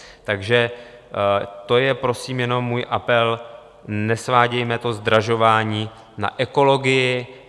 Takže to je prosím jenom můj apel, nesvádějme to zdražování na ekologii.